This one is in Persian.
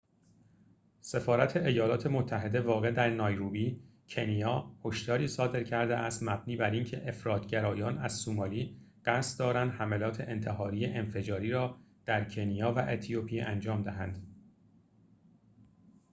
سفارت ایالات متحده واقع در نایروبی کنیا هشداری صادر کرده است مبنی بر اینکه افراط گرایان از سومالی قصد دارند حملات انتحاری انفجاری را در کنیا و اتیوپی انجام دهند